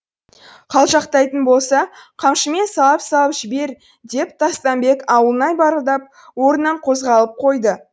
қалжақтайтын болса қамшымен салып салып жібер деп тастамбек ауылнай барылдап орнынан қозғалып қойды